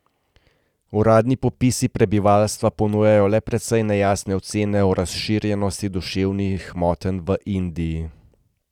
Uradni popisi prebivalstva ponujajo le precej nejasne ocene o razširjenosti duševnih motenj v Indiji.